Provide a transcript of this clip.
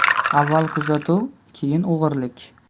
Avval kuzatuv, keyin o‘g‘rilik.